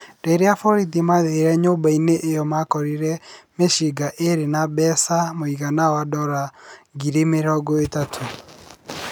Rĩrĩa borithi maathire nyũmba ĩyo makorire mĩcinga ĩrĩ na mbeca mũigana wa ndora ngiri mĩrongo ĩtatũ.